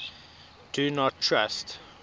do not trust